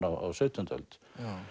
á sautjándu öld